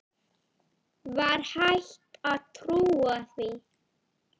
Var hægt að trúa því?